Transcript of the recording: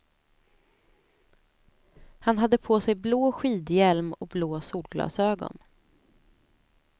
Han hade på sig blå skidhjälm och blå solglasögon.